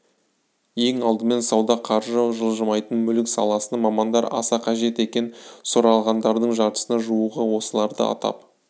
ең алдымен сауда қаржы жылжымайтын мүлік саласына мамандар аса қажет екен сұралғандардың жартысына жуығы осыларды атап